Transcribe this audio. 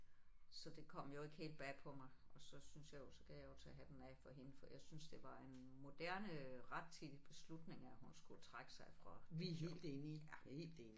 Så det kom jo ikke helt bag på mig og så syntes jeg jo så kan jeg jo tage hatten af for hende for jeg synes at det var en moderne rettidig beslutning at hun skulle trække sig fra det job ja